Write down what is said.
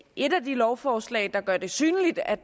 et af de lovforslag der gør det synligt at